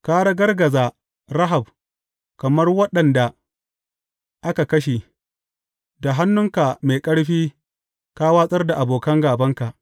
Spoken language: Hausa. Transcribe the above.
Ka ragargaza Rahab kamar waɗanda aka kashe; da hannunka mai ƙarfi ka watsar da abokan gābanka.